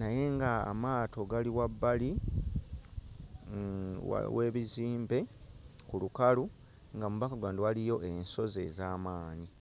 naye nga amaato gali wabbali mm wa w'ebizimbe ku lukalu nga mu background waliyo ensozi ez'amaanyi.